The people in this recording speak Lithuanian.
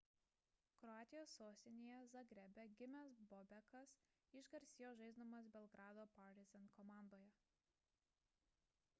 kroatijos sostinėje zagrebe gimęs bobekas išgarsėjo žaisdamas belgrado partizan komandoje